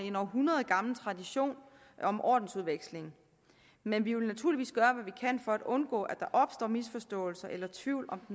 en århundredgammel tradition om ordensudveksling men vi vil naturligvis gøre hvad vi kan for at undgå at der opstår misforståelser eller tvivl